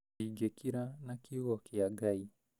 Ndingĩkira na kiũgo kĩa Ngai